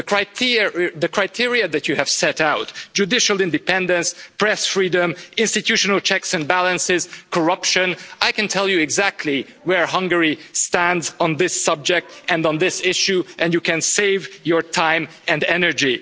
The criteria that you have set out judicial independence, press freedom, institutional checks and balances, corruption I can tell you exactly where Hungary stands on this subject and on this issue and you can save your time and energy.